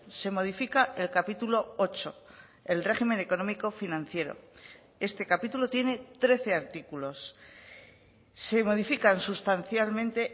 se modifica el capítulo ocho el régimen económico financiero este capítulo tiene trece artículos se modifican sustancialmente